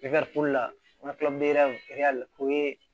la o ye